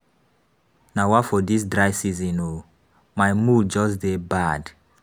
Nawa for dis dry season oo. My mood just dey bad.